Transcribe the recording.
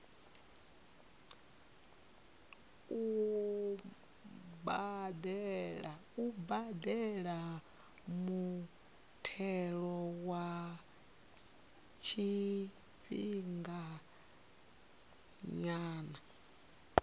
u badela muthelo wa tshifhinganyana